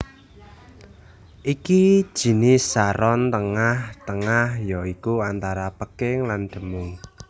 Iki jinis saron tengah tengah ya iku antara peking lan demung